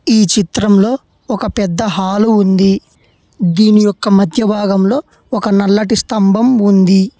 నీ చిత్రంలో ఒక పెద్ద హాలు ఉంది దీని యొక్క మధ్య భాగంలో ఒక నల్లటి స్తంభం ఉంది